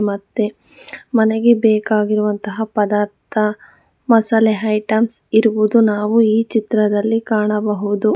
ಮತ್ತೆ ಮನೆಗೆ ಬೇಕಾಗಿರುವಂತಹ ಪದಾರ್ಥ ಮಸಾಲ ಐಟಮ್ಸ್ ಇರುವುದು ನಾವು ಈ ಚಿತ್ರದಲ್ಲಿ ಕಾಣಬಹುದು.